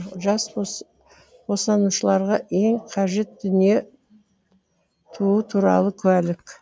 жас босанушыларға ең қажет дүние туу туралы куәлік